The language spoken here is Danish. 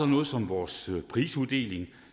noget som vores prisuddeling